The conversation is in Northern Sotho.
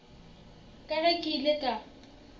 ka ge ke ile ka